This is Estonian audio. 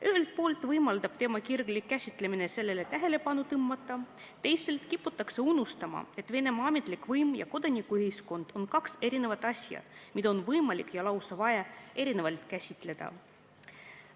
Ühelt poolt võimaldab teema kirglik käsitlemine sellele tähelepanu tõmmata, teisalt kiputakse unustama, et Venemaa ametlik võim ja kodanikuühiskond on kaks eri asja, mida on võimalik ja lausa on vaja erinevalt käsitleda.